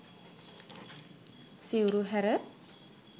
සිවුරු හැර